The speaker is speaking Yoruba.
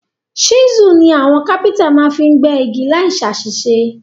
Chisel ni àwon carpenter ma fi n gbẹ́ igi láì sàsísé